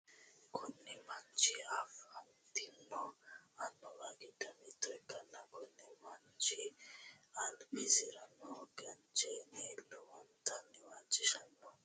Kunni manchi afantino Annuwa gido mitto ikanna kunni manchi udureno garinna anga amaxino bakali hattono albisira noo gaacheenni lowontanni waajishano.